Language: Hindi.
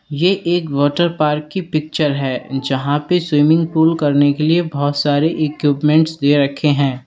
ये एक वाटरपार्क की पिक्चर है जहां पे स्विमिंग पूल करने के लिए बोहोत सारे इक्यूपमेंट्स दे रखे हैं।